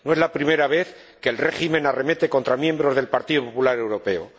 No es la primera vez que el régimen arremete contra miembros del Partido Popular Europeo.